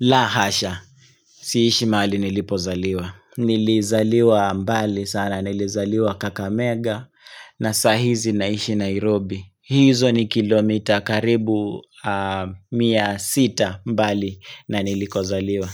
La hasha, siishi mali nilipozaliwa Nilizaliwa mbali sana, nilizaliwa kakamega na sahizi naishi Nairobi hizo ni kilomita karibu mia sita mbali na nilikozaliwa